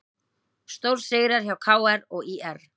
Stórsigrar hjá KR og ÍR